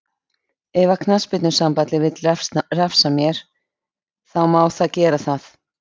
Ef að knattspyrnusambandið vill refsa mér, þá má það gera það.